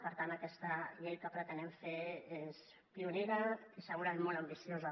per tant aquesta llei que pretenem fer és pionera i segurament molt ambiciosa